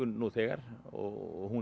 nú þegar og hún